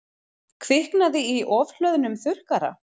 Kviknaði í ofhlöðnum þurrkara